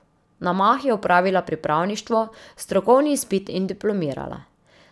Na mah je opravila pripravništvo, strokovni izpit in diplomirala.